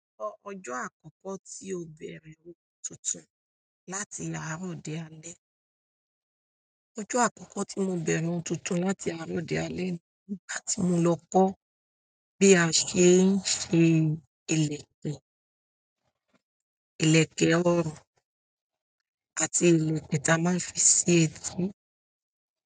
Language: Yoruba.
Ọjọ́ àkọ́kọ́ tí o bẹ̀rẹ̀ òun tuntun láti àárọ̀ di alẹ́. Ọjọ́ àkọ́kọ́ tí mo bẹ̀rẹ̀ ohun tuntun láti àárọ̀ di alẹ́ ni ìgbà tí mo lọ kọ́ bí a ṣe ń ṣe ìlẹ̀kẹ̀, ìlẹ̀kẹ̀ ọrùn àti ìlẹ̀kẹ̀ táa máa ń fi sí etí.